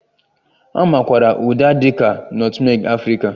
A makwaara Uda dị ka nọtmeg Afrịka